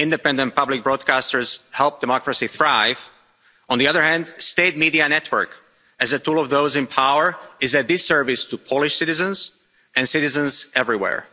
Independent public broadcasters help democracy thrive. On the other hand, state media network as a tool of those in power is a disservice to Polish citizens and citizens everywhere.